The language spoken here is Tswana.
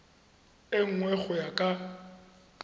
e nngwe go ya ka